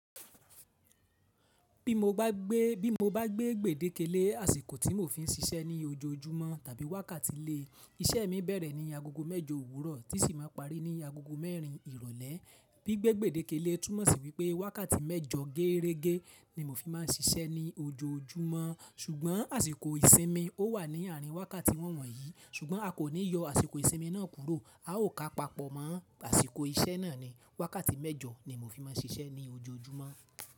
Bí mo bá gbé gbèdékelé àsìkò tí mo fi ń ṣiṣẹ́ ní ojoojúmọ́ tàbí wákàtí lé, iṣẹ́ mi bẹ̀rẹ̀ ní agogo mẹ́jọ òwúrọ̀ tí sì máa parí ní agogo mẹ́rin ìrọ̀lẹ́. Gbi gbègbèdékelé túmọ̀ sí wípé wákàtí mẹ́jọ géerege ni mo fi máa ń ṣiṣẹ́ ní ojoojúmọ́ ṣùgbọ́n àsìkò ìsinmi ó wà ní àárín wákàtí won wọ̀nyí ṣùgbọ́n a kò ní yọ àsìkò ìsinmi náà kúrò, a ó ka papọ̀ mọ́ àsìkò iṣẹ́ náà ni. Wákàtí mẹ́jọ ni mo fi máa ń ṣiṣẹ́ ní ojoojúmọ́.